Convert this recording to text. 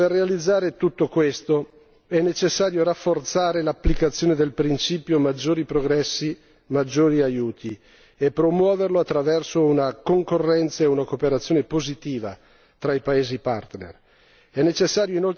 Signor Commissario, per realizzare tutto ciò è necessario rafforzare l'applicazione del principio maggiori progressi, maggiori aiuti e promuoverlo attraverso una concorrenza e una cooperazione positiva tra i paesi partner.